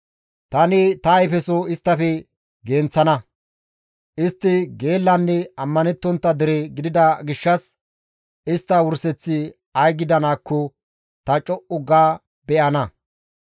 ‹Tani ta ayfeso isttafe genththana; istti geellanne ammanettontta dere gidida gishshas istta wurseththi ay gidanaakko ta co7u ga beyana.›